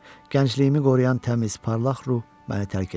Gəncliyimi qoruyan təmiz, parlaq ruh məni tərk edir.